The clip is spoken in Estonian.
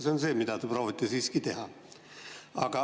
See on see, mida te proovite siiski teha.